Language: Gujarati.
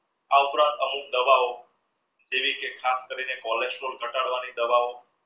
આ ઉપરાંત અમુક દવાઓ જેવી કે ખાસ કરીને cholesterol ઘટાડવા ની દવાઓ